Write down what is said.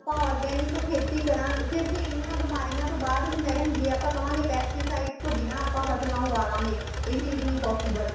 organic ਖੇਤੀ ਕਰਾਗੇ ਫ਼ੇਰ ਐਨੀਆਂ ਬਿਮਾਰੀਆਂ ਤੋਂ ਬਾਅਦ ਵੀ madam ਜ਼ੇ ਆਪਾਂ ਕਵਾਗੇ pesticide ਤੋਂ ਬਿੰਨਾ ਆਪਾਂ ਫੱਸਲਾਂ ਉਗਾਲਾਂਗੇ ਇਹ ਵੀ ਚੀਜ਼ ਨਹੀਂ possible